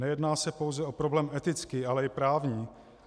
Nejedná se pouze o problém etický, ale i právní.